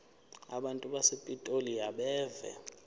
abantu basepitoli abeve